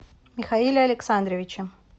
михаиле александровиче